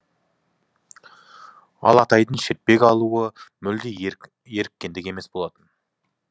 ал атайдың шертпек алуы мүлде еріккендік емес болатын